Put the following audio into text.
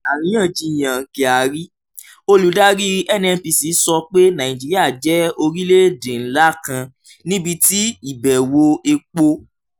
àríyànjiyàn kyari: olùdarí nnpc sọ pé nàìjíríà jẹ́ orílẹ̀-èdè ńlá kan níbi tí ìbẹ̀wò epo